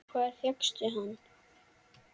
Hvar fékkstu hann?